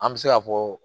An bɛ se ka fɔ